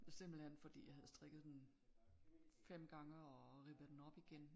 Simpelthen fordi jeg havde strikket den 5 gange og rippet den op igen